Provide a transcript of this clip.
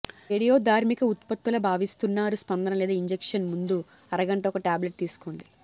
రేడియోధార్మిక ఉత్పత్తుల భావిస్తున్నారు స్పందన లేదా ఇంజెక్షన్ ముందు అరగంట ఒక టాబ్లెట్ తీసుకోండి